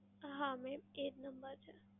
હા mam એજ number છે.